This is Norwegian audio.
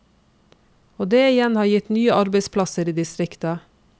Og det igjen har gitt nye arbeidsplasser i distriktet.